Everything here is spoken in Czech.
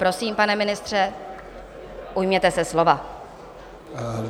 Prosím, pane ministře, ujměte se slova.